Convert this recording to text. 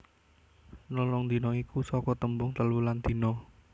Nelung dina iku saka tembung telu lan dina